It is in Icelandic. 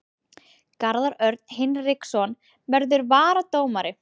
Garðar Örn Hinriksson verður varadómari.